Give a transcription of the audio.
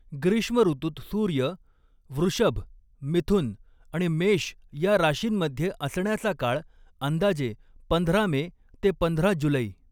ग्रीष्म ऋतूत सूर्य वृषभ मिथुन आणि मेष या राशींमध्ये असण्याचा काळ अंदाजे पंधरा मे ते पंधरा जुलै